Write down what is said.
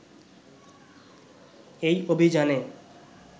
এই অভিযানে